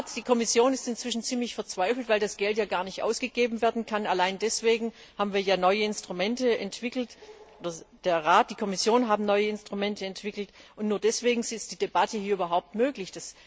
Die Kommission ist inzwischen ziemlich verzweifelt, weil das Geld ja gar nicht ausgegeben werden kann. Allein deswegen haben wir ja neue Instrumente entwickelt der Rat und die Kommission haben neue Instrumente entwickelt und nur deswegen ist die Debatte hier überhaupt möglich.